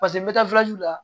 Paseke n bɛ taa la